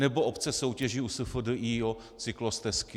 Nebo obce soutěží u SFDI o cyklostezky.